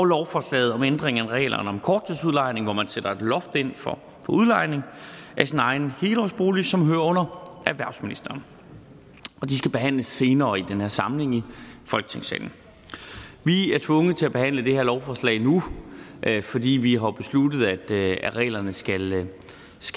lovforslaget om ændringer af reglerne om korttidsudlejning hvor man sætter et loft ind for udlejning af sin egen helårsbolig og som hører under erhvervsministeren de skal behandles senere i den her samling i folketingssalen vi er tvunget til at behandle det her lovforslag nu fordi vi har besluttet at reglerne skal i dele